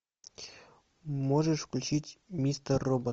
можешь включить мистер робот